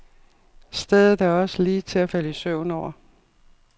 Stedet er også lige til at falde i søvn over.